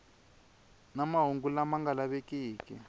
na mahungu lama nga lavekiki